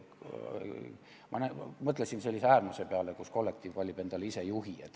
Ma mõtlesin äärmuse peale, kus kollektiiv valib endale ise juhi.